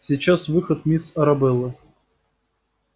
сейчас выход мисс арабеллы